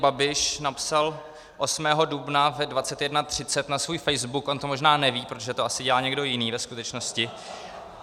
Babiš napsal 8. dubna ve 21.30 na svůj Facebook - on to možná neví, protože to asi dělal někdo jiný ve skutečnosti .